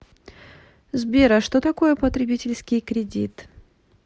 сбер а что такое потребительский кредит